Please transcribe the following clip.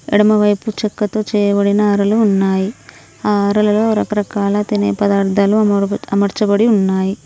ఎడమవైపు చెక్కతో చేయబడిన అరలు ఉన్నాయి ఆ అరలలో రకరకాల తినే పదార్థాలు అమరబ అమర్చబడి ఉన్నాయి.